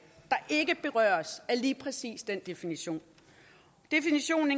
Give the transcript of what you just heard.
der ikke berøres af lige præcis den definition definitionen